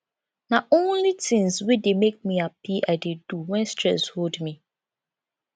na only tins wey dey make me hapi i dey do wen stress hold me